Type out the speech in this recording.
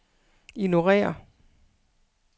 ignorér